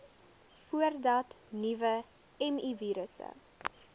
voordat nuwe mivirusse